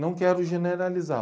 Não quero generalizar.